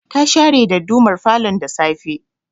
Ta share dadumar falon da safe